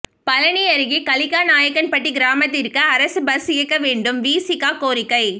பழநி அருகே கலிக்கநாயக்கன்பட்டி கிராமத்திற்கு அரசு பஸ் இயக்க வேண்டும் விசிக கோரிக்கை